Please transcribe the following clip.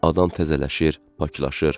Adam təzələnir, paklanır.